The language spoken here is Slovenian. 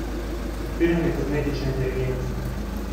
Odpiranje kozmične inteligence.